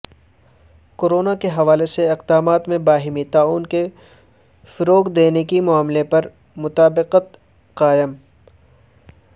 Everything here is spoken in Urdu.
کورونا کے حوالے سے اقدامات میں باہمی تعاون کو فروغ دینے کے معاملے پرمطابقت قائم